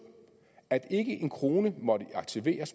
at ikke en krone måtte aktiveres